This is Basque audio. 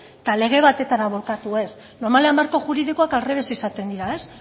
eta lege batetara bulkatu ez normalean marko juridikoak aldrebes izaten dira ez